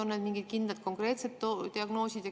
On need mingid kindlad, konkreetsed diagnoosid?